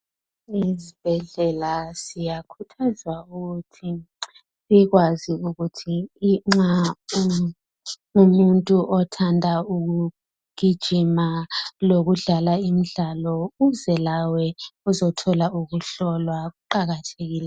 Ezibhedlela siyakhuthazwa ukuthi sikwazi ukuthi nxa umuntu othanda ukugijima lokudlala imidlalo uze lawe uzothola ukuhlolwa kuqakathekile.